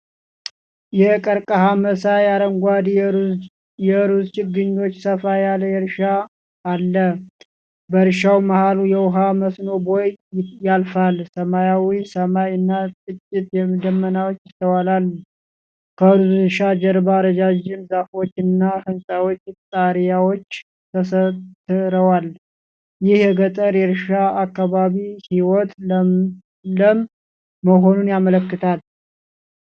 የቀርከሃ መሳይ አረንጓዴ የሩዝ ችግኞች ሰፋ ያለ እርሻ አለ። በእርሻው መሃል የውሃ መስኖ ቦይ ያልፋል። ሰማያዊ ሰማይ እና ጥቂት ደመናዎች ይስተዋላል። ከሩዝ እርሻ ጀርባ ረዣዥም ዛፎች እና የሕንፃ ጣሪያዎች ተሰትረዋል። ይህ የገጠር የእርሻ አካባቢ ህይወት ለም መሆኑን ያመለክታል።